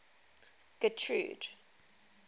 getrude